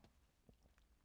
DR K